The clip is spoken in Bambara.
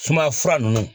Sumaya fura nunnu